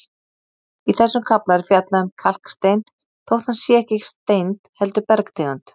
Í þessum kafla er fjallað um kalkstein þótt hann sé ekki steind heldur bergtegund.